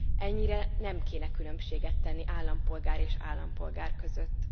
Ennyire azért nem kéne különbséget tenni állampolgár és állampolgár között.